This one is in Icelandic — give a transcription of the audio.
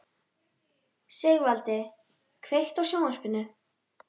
Sigvaldi, kveiktu á sjónvarpinu.